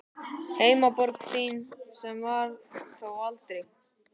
Heimaborg þín, sem var það þó aldrei.